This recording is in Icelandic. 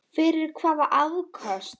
Fyrir hvaða afköst?